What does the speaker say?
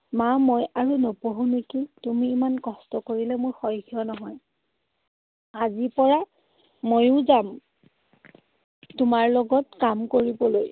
মা মই আৰু নপঢ়ো নেকি। তুমি ইমান কষ্ট কৰিলে মোৰ সহ্য নহয়। আজি পৰা ময়ো যাম তোমাৰ লগত কাম কৰিবলৈ।